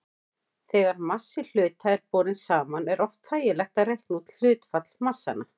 Þegar massi hluta er borinn saman er oft þægilegt að reikna út hlutfall massanna.